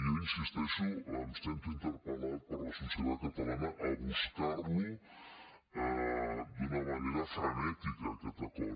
jo hi insisteixo em sento interpel·lat per la societat catalana a buscar lo d’una manera frenètica aquest acord